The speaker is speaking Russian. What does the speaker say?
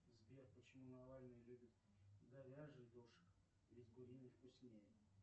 сбер почему навальный любит говяжий дошик ведь куриный вкуснее